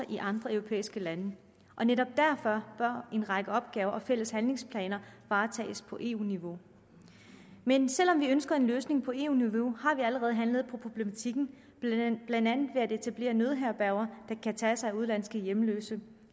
i andre europæiske lande netop derfor bør en række opgaver og fælles handlingsplaner varetages på eu niveau men selv om vi ønsker en løsning på eu niveau har vi allerede handlet på problematikken blandt andet ved at etablere nødherberger der kan tage sig af udenlandske hjemløse